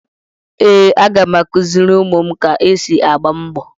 Ee, aga m akụziri ụmụ m ka esi agba mbọ.